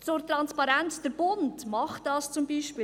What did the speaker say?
Zur Transparenz: Der Bund macht das zum Beispiel.